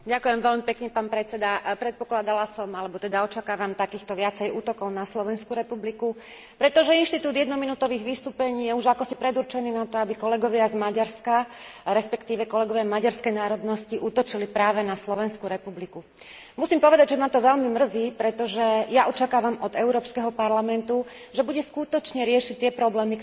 Predpokladala som, alebo očakávam viacej takýchto útokov na Slovenskú republiku, pretože inštitút jednominútových vystúpení je už akosi predurčený na to, aby kolegovia z Maďarska, respektíve kolegovia maďarskej národnosti útočili práve na Slovenskú republiku. Musím povedať, že ma to veľmi mrzí, pretože ja očakávam od Európskeho parlamentu, že bude skutočne riešiť tie problémy, ktoré Európska únia má.